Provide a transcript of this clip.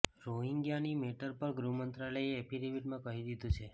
રોહિંગ્યાની matter પર ગૃહ મંત્રાલયે એફિડેવિટમાં કહી દીધું છે